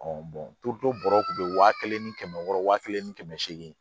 bɔrɔ kun be wa kelen ni kɛmɛ wɔɔrɔ wa kelen ni kɛmɛ seegin